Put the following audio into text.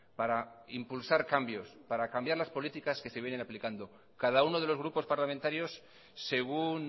para impulsar cambios para cambiar las políticas que se vienen aplicando cada uno de los grupos parlamentarios según